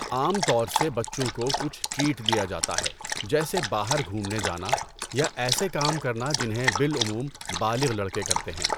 عام طور سے بچوں کوکچھ ٹریٹ دیا جاتا ہے، جیسے باہر گھومنے جانا یا ایسے کام کرنا جنہیں بالعموم بالغ لڑکے کرتے ہیں۔